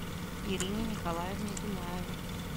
ирине николаевне дунаевой